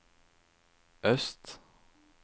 øst